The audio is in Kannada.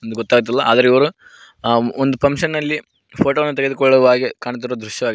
ಒಂದು ಗೊತ್ತಾಗ್ತಿಲ್ಲ ಆದ್ರೆ ಇವರು ಆ ಒಂದು ಫಂಕ್ಷನ್ ಅಲ್ಲಿ ಫೋಟೋ ವನ್ನು ತೆಗೆದುಕೊಳ್ಳುವ ಹಾಗೆ ಕಾಣ್ತಿರುವ ದೃಶ್ಯವಾಗಿದೆ.